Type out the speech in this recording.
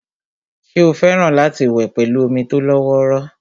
ṣé ó fẹ́ràn láti wẹ̀ pẹ̀lú omi tó lọ́wọ́rọ́